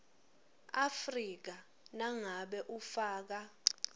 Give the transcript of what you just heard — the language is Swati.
afrika nangabe ufaka